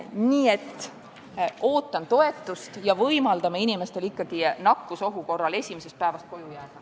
Nii et ootan toetust ja võimaldame inimestel nakkusohu korral esimesest päevast koju jääda.